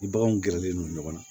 Ni baganw gɛrɛlen don ɲɔgɔn na